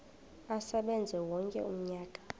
asebenze wonke umnyaka